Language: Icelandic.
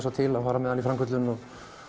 til að fara með hann í framköllun